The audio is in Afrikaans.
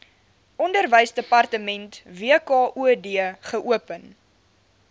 onderwysdepartement wkod geopen